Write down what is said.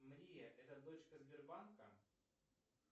мария это дочка сбербанка